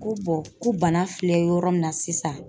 Ko ko bana filɛ yɔrɔ min na sisan